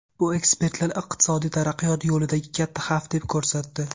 Bu ekspertlar iqtisodiy taraqqiyot yo‘lidagi katta xavf deb ko‘rsatdi.